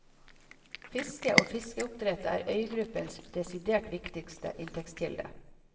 Fiske og fiskeoppdrett er øygruppens desidert viktigste inntektskilde.